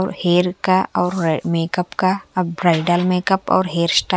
और हेयर का और मेकअप का अब ब्राइडल मेकअप और हेयर स्टाइल --